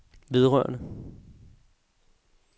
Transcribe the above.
vedrørende